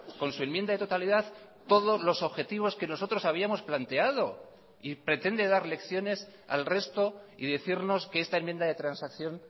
con su enmienda de totalidad todos los objetivos que nosotros habíamos planteado y pretende dar lecciones al resto y decirnos que esta enmienda de transacción